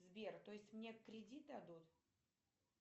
сбер то есть мне кредит дадут